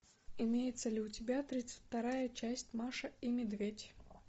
имеется ли у тебя тридцать вторая часть маша и медведь